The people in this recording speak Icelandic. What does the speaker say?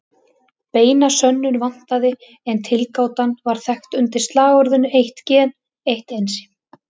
Beina sönnun vantaði en tilgátan var þekkt undir slagorðinu eitt gen, eitt ensím!